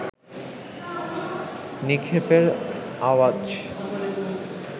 নিক্ষেপের আওয়াজ